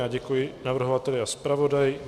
Já děkuji navrhovateli a zpravodaji.